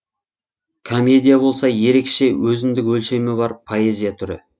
комедия болса ерекше өзіндік өлшемі бар поэзия түрі